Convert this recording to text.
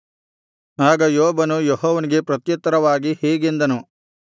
ಆಗ ಯೋಬನು ಯೆಹೋವನಿಗೆ ಪ್ರತ್ಯುತ್ತರವಾಗಿ ಹೀಗೆಂದನು